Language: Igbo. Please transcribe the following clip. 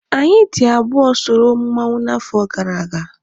Anyị dị abụọ soro mmanwụ n'afọ gara aga.